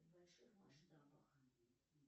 в больших масштабах